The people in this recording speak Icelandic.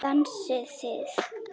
Dansið þið.